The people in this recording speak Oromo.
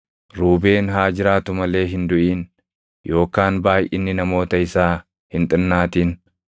“Ruubeen haa jiraatu malee hin duʼin; yookaan baayʼinni namoota isaa hin xinnaatin.”